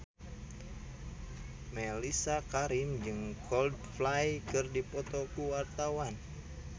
Mellisa Karim jeung Coldplay keur dipoto ku wartawan